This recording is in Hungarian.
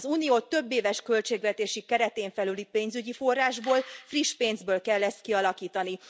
Az Unió többéves költségvetési keretén felüli pénzügyi forrásból, friss pénzből kell ezt kialakítani.